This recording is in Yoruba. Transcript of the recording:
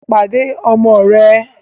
Pàdé ọmọ rẹ̀!